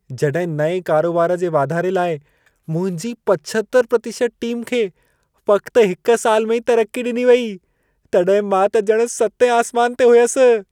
जॾहिं नएं करोबार जे वाधारे लाइ मुंहिंजी 75% टीम खे फ़क़्तु हिक साल में ई तरक़ी ॾिनी वेई, तॾहिं मां त ॼणु सतें आसमान ते हुयसि।